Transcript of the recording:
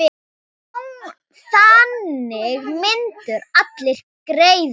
Þannig myndu allir græða.